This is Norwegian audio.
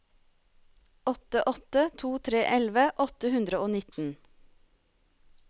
åtte åtte to tre elleve åtte hundre og nitten